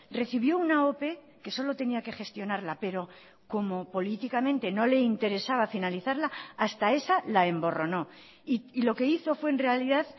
recibió una ope que solo tenía que gestionarla pero como políticamente no le interesaba finalizarla hasta esa la emborronó y lo que hizo fue en realidad